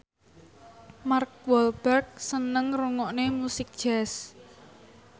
Mark Walberg seneng ngrungokne musik jazz